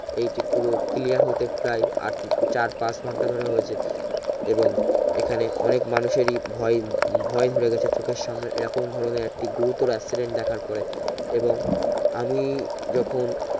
এইটি পুরো clear হতে প্রায় আট চার পাঁচ ঘন্টা ধরে হয়েছে এবং এখানে অনেক মানুষের ই ভয় ভয় ধরে গেছে চোখের সামনে এই রকম ধরনের একটি গুরুতর accident দেখার পরে এবং আমি যখন